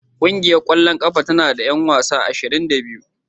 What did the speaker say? Ƙungiyar ƙwallon ƙafa tana da 'yan wasa ashirin da biyu